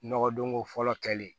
Nɔgɔdonko fɔlɔ kɛlen